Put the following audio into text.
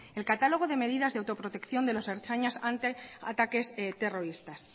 el catálogo de medidas de autoprotección de los ertzainas ante ataques terroristas